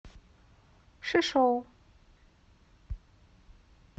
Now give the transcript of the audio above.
шишоу